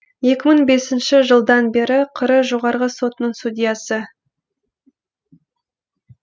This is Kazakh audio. екі мың бесінші жылдан бері қр жоғарғы сотының судьясы